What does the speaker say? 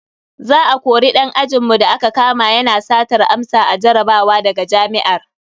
Za a kori dan ajinmu da aka kama yana satar amsa a jarabawa daga jami'ar.